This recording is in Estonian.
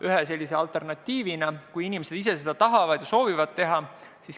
Neid võetakse ühe alternatiivina, kui inimesed ise seda soovivad.